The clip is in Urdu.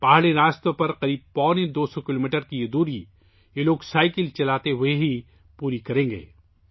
یہ لوگ تقریباً ڈھائی سو کلومیٹر کا یہ فاصلہ پہاڑی سڑکوں پر صرف سائیکل چلاکر پورا کریں گے